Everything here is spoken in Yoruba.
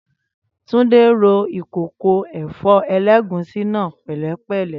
Túndé ro ìkòkò ẹ̀fọ́ ẹlẹ́gùsí náà pẹ̀lẹ́pẹ̀lẹ́